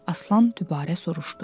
Aslan dübarə soruşdu.